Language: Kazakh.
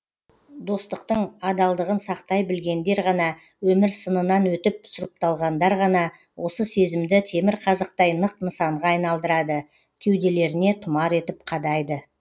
достықтың адалдығын сақтай білгендер ғана өмір сынынан өтіп сұрыпталғандар ғана осы сезімді темірқазықтай нық нысанға айналдырады кеуделеріне тұмар етіп қадайды